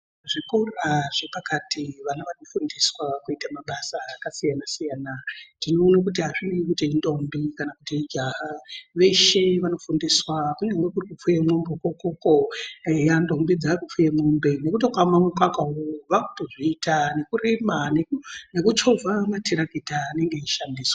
Zvikora zvepakati vana vanofundiswa kuita mabasa akasiyana siyana. Tinoona kuti azvineyi kuti indombi kana kuti ijaha veshe vanofundiswa kunyange kuri kufuya mombe kwona ukwokwo, eya ndombi dzaakutofuye mombe nekutokama mukaka vakutozviita nekurima nekuchova matarakita anenge eishandiswa.